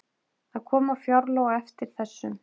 Það koma fjárlög á eftir þessum